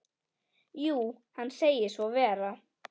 Jú, hann segir svo vera.